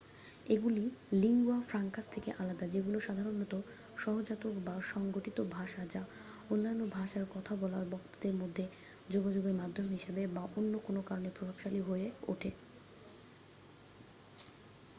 এগুলি lingua francas থেকে আলাদা যেগুলি সাধারণত সহজাতক বা সংগঠিত ভাষা যা অন্যান্য ভাষায় কথা বলা বক্তাদের মধ্যে যোগাযোগের মাধ্যম হিসাবে বা অন্য কোন কারণে প্রভাবশালী হয়ে ওঠে